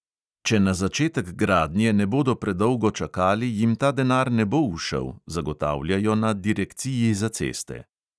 Če na začetek gradnje ne bodo predolgo čakali, jim ta denar ne bo ušel, zagotavljajo na direkciji za ceste.